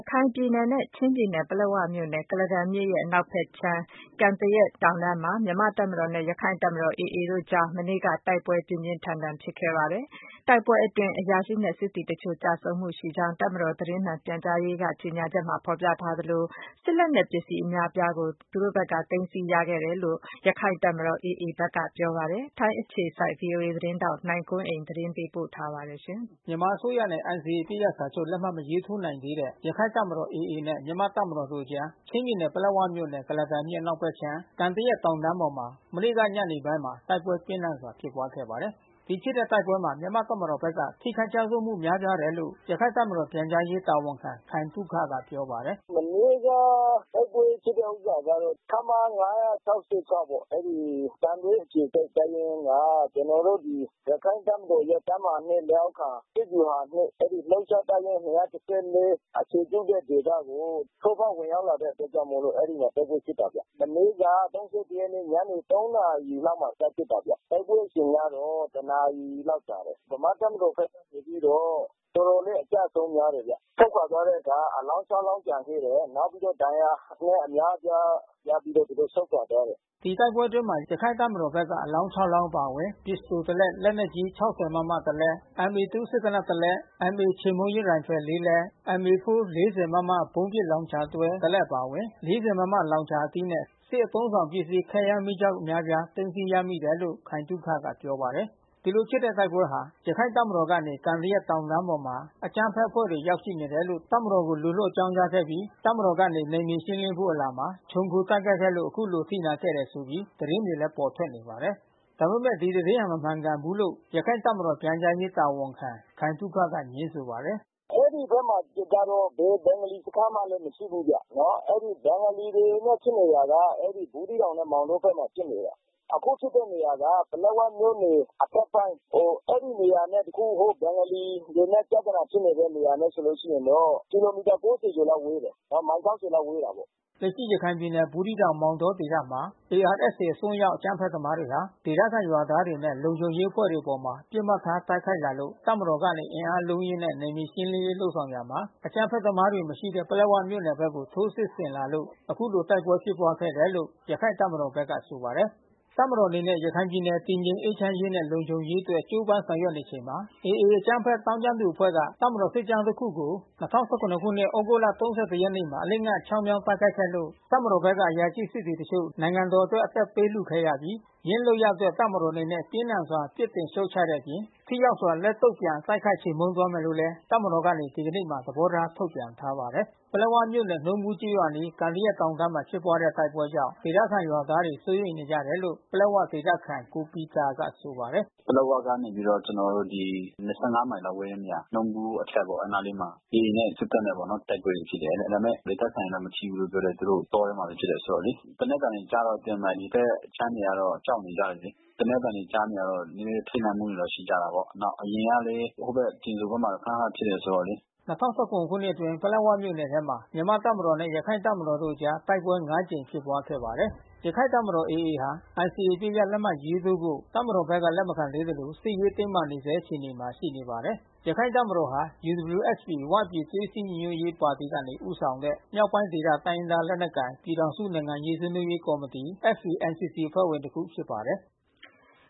ခိုင်ပြည်နယ်နဲ့ချင်းပြည်နယ်ပလက်ဝမြို့နယ် ကုလားတန်မြစ်အနောက်ဖက်အခြမ်း၊ "ကန်သရက်" တောင်တန်း ပေါ် မှာ မြန်မာ့တပ်မတော်နဲ့ ရခိုင့်တပ်မတော် AAတို့အကြား မနေ့က တိုက်ပွဲပြင်းထန်စွာဖြစ်ပွါးခဲ့ပါတယ်။ တိုက်ပွဲအတွင်း မြန်မာ့ တပ်မတော်ဘက်က ထိခိုက်မှုတွေ များပြားသလို ရခိုင်တပ်မတော်ဘက်က စစ်လက်နက် ပစ္စည်းတွေ အများပြား သိမ်းဆီးရခဲ့တယ်လို့ ရခိုင်တပ်မတော်ဘက်က ပြောပါတယ်။ ထိုင်းအခြေစိုက် VOA သတင်းထောက် နိုင်ကွန်းအိန် ကနေ သတင်းပေးပို့ထားပါတယ်။ မြန်မာအစိုးရနဲ့ NCAအပစ်ရပ်စာချုပ်လက်မှတ်မထိုးနိုင်သေးတဲ့ ရခိုင့်တပ်မတော်AAနဲ့ မြန်မာ့တပ်မတော်တို့အကြား ချင်းပြည်နယ်ပလက်ဝမြို့နယ် ကုလားတန်မြစ် အနောက်ဖက်အခြမ်း၊ "ကန်သရက်" တောင်တန်းပေါ်မှာ မနေ့က တိုက်ပွဲပြင်းထန်စွာဖြစ်ပွါးခဲ့ပါတယ်။ ဒီဖြစ်တဲ့တိုက်ပွဲမှာ မြန်မာ့တပ်မတော်ဘက်က ထိခိုက်ကျဆုံးမှုများပြားတယ်လို့ ရခိုင့်တပ်မတော်ပြန်ကြားရေး တာဝန်ခံ ခိုင်သုခကပြောပါတယ်။ " မနေ့က တိုက်ပွဲဖြစ်တာက ခမရ ၅၆၆ ပေါ့ အဲ့ဒီ့သံတွဲအခြေစိုက်တပ်ရင်းက ကျျနော်တို့ ရခိုင်တပ်မတော် တပ်မဟာ ၂လက်အောက်ခံ စစ်ဗျူဟာ ၂ တပ်ရင်း ၂၁၄ အခြေပြုတဲ့ဒေသကို ထိုးဖောက်ဝင်ရောက်လာတဲ့အတွက် အဲ့ဒီ့မှာ တိုက်ပွဲဖြစ်တာဗျ။ မနေ့က ၃၁ရက်နေ့ ညနေ ၃ နာရီလောက်မှ စဖြစ်တာဗျ။ တိုက်ပွဲအချိန်က တစ်နာရီလောက်ကြာတယ်။ ဗမာ့တပ်မတော်ဘက်က တော်တော်လေး အကျအဆုံး များတယ်ဗျ။ ဆုတ်ခွာသွားတဲ့အခါ အလောင်း ၆လောင်းပြန်တွေ့တယ်။ ဒဏ်ရာ အများအပြားရပြီးတော့ သူတို့ဆုတ်ခွာသွားတယ်။" ဒီတိုက်ပွဲအတွင်း ရခိုင့်တပ်မတော်ဘက်ကနေ အလောင်း လောင်းအပါအဝင် ပစ္စတို လက် လက်နက် ကြီး ၆၀ မမ လက် MA-2 စစ်သေနတ် လက် MA -ချေမှုန်းရေးရိုင်ဖယ် လက်MA-4 ၄၀ မမဗုံးပစ် လောင် ချာတွဲ လက် အပါအဝင် RPG အသီး ၄၀- မမလောင်ချာအသီးနဲ့ ၊ စစ်အသုံးအဆောင်ပစ္စည်း ခဲယမ်းမီး ကျောက် အများအပြားကို သိမ်းဆည်းရမိတယ်လို့ ခိုင်သုခကပြောပါတယ်။ ဒီလိုဖြစ်တဲ့တိုက်ပွဲဟာ ရခိုင့်တပ်မတော်အဖွဲ့ကနေ ကန်သရက်" တောင်တန်းပေါ်မှာ အကြမ်းဖက်အဖွဲ့တွေ ရောက် ရှိနေတယ်လို့ တပ်မတော်ကို လူလွှတ် အကြောင်းကြားခဲ့ပြီး တပ်မတော်ကနေ နယ်မြေရှင်းလင်းဖို့ အလာမှာ ခြုံခို တိုက်ခိုက်ခဲ့လို့ အခုလို အထိနာခဲ့တယ်ဆိုပြီး သတင်းတွေပေါ်ထွက်နေပါတယ်။ ဒီသတင်းဟာ မဟုတ်မှန်ဘူးလို့ ရခိုင့်တပ်မတော်ပြန်ကြားရေး တာဝန်ခံ ခိုင်သုခကငြင်းဆိုပါတယ်။ " အဲ့ဒီ့ဘက်မှာ ဘယ်ဘင်္ဂလီစခန်းမှ မရှိဘူးဗျ။ ဘင်္ဂလီတွေနဲ့ဖြစ်နေတာက ဘူးသီးတောင် နဲ့ မောင်တောဘက်မှာ ဖြစ်နေတာ။ အခုဖြစ်နေတာက ပလက်ဝမြို့နယ် အထက်ပိုင်း အဲ့ဒီ့နေရာနဲ့ ဘင်္ဂလီတွေနဲ့ပြသနာဖြစ်နေတဲ့ နေရာနဲ့ဆိုရင်တော့ ကီလိုမီတာ ၉၀ကျော်လောက်ဝေးတယ်။ မိုင် ၆၀ လောက်ဝေးတာပေါ့။" လက်ရှိရခိုင်ပြည်နယ် ဘူးသီးတောင် မောင်တောဒေသမှာ ARSA အစွန်းရောက် အကြမ်းဖက်သမားတွေဟာ ဒေသ ခံရွာသားတွေနဲ့ လုံခြုံရေး အဖွဲ့တွေအပေါ် ပစ်မှတ်ထား တိုက်ခိုက်လာလို့ တပ်မတော်ကနေ အင်အား အလုံးအရင်းနဲ့ နယ်မြေ ရှင်းလင်းရေး လုပ်ဆောင်ရာမှာ အကြမ်းဖက်သမားတွေမရှိတဲ့ ပလက်ဝမြို့နယ်ဘက်ကို ထိုးစစ်ဆင်လာလို့ အခုလိုတိုက်ပွဲဖြစ်ပွါးခဲ့တာလို့ ရခိုင့်တပ်မတော်ဘက်က ဆိုပါတယ်။ တပ်မတော်အနေနဲ့ရခိုင်ပြည်နယ်တည်ငြိမ်အေးချမ်းနှင့် လုံခြုံရေး အတွက် ကြိုးပမ်းဆောင်ရွက်ချိန်တွင် AA အကြမ်း ဖက်သောင်းကျန်းသူအဖွဲ့က တပ်မတော် စစ်ကြောင်းတစ်ခုကို ၂၀၁၇ ဩဂုတ်လ ၃၁ ရက်နေ့မှာ အလစ်အငိုက် ချောင်းမြောင်း တိုက်ခိုက်ခဲ့လို့တပ်မတော်ဘက်မှ အရာရှိ/ စစ်သည်အချို့ နိုင်ငံတော်အတွက် အသက်ပေးလှူခဲ့ရပြီး ယင်းလုပ်ရပ်အတွက်တပ်မတော်အနေနဲ့ ပြင်းထန်စွာပြစ်တင် ရှုံ့ချတဲ့အပြင် ထိရောက်စွာ လက်တုံ့ပြန် တိုက်ခိုက်ချေမှုန်း သွားမယ်လို့လဲ တပ်မတော် ကနေ ဒီကနေ့မှာ သဘောထားထုတ်ပြန်ထားပါတယ်။ ပလက်ဝမြို့နယ် နှုန်းဘူးရွာအနီး ကန်သရက်" တောင်တန်းမှာဖြစ်ပွါးခဲ့တဲ့တိုက်ပွဲကြောင့် ဒေသခံ ရွာသားတွေ စိုးရိမ် နေကြရတယ်လို့ ပလက်ဝဒေသခံကိုပီတာကဆိုပါတယ်။ " ပလက်ဝကနေ ၂၅ မိုင်လောက် ဝေးတဲ့နေရာ နှုန်းဘူးအထက်ပေါ့ အဲ့နားလေးမှာ AA နဲ့ စစ်တပ်နဲ့ တိုက်ပွဲတွေဖြစ်တယ် ဒါပေမဲ့ ဒေသခံတွေ မထိဘူးလို့ပြောတယ်။ သူတို့တောထဲမှာဖြစ်တယ် ဆိုတော့လေ သေနတ်သံတွေကြားတော့ ဒီဘက်ခြမ်းတွေကတော့ ကြောက်နေကြတယ်လေ။ သေနတ်သံတွေကြားတော့ ထိတ်လန့်မှုတွေတော့ ရှိတာပေါ့။ အရင်ကလည်း ခနခနဖြစ်တယ်ဆိုတော့လေ" ၂၀၁၇ ခုနှစ်အတွင်းပလက်ဝမြို့နယ်ထဲမှာမြန်မာ့တပ်မတော်နဲ့ ရခိုင်တပ်မတော်တို့ အကြား တိုက်ပွဲ ကြိမ်ဖြစ်ပွါး ခဲ့ပါတယ်။ ရခိုင့်တပ်မတော်AAဟာ NCAအပစ်ရပ်လက်မှတ်ရေးထိုးဖို့ တပ်မတော်ဘက်က လက်မခံသေးသလို စစ်ရေးတင်းမာ နေဆဲအခြေအနမှာရှိနေပါတယ်။ ရခိုင်တပ်မတော်ဟာ UWSP ဝပြည်သွေးစည်းညီညွတ်ရေးပါတီကနေဦးဆောင်တဲ့ မြောက်ပိုင်းဒေသတိုင်းရင်းသား လက်နက်ကိုင် ပြည်ထောင်စုနိုင်ငံရေး ဆွေးနွေးရေးကော်မတီ FPNCCအဖွဲ့ဝင်တခုဖြစ်ပါတယ်။